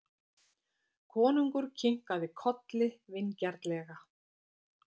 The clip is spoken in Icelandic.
Konungur kinkaði kolli vingjarnlega.